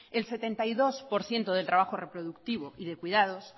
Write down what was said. el setenta y dos por ciento del trabajo reproductivo y de cuidados